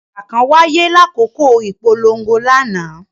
Ija kan waye lakoko ipolongo lana.